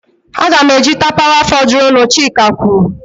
Aga m eji tapawa fọdụrụnụ, chika kwuru.